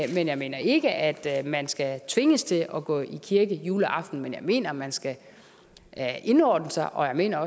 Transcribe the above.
jeg mener ikke at man skal tvinges til at gå i kirke juleaften men jeg mener at man skal indordne sig og jeg mener